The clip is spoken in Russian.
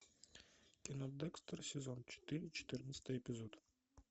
кино декстер сезон четыре четырнадцатый эпизод